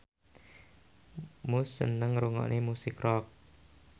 Muse seneng ngrungokne musik rock